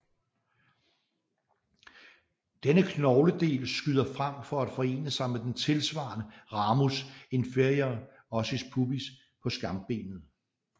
Denne knogledel skyder frem for at forene sig med den tilsvarende ramus inferior ossis pubis på skambenet